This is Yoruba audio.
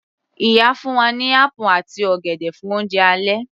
Ìyá fún wa ní apple àti ọ̀gẹ̀dẹ̀ fún oúnjẹ alẹ́